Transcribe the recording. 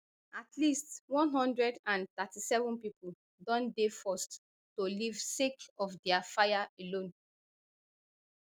at least one hundred and thirty-seven thousand pipo don dey forced to leave sake of dia fire alone